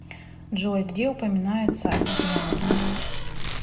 джой где упоминается обезьяны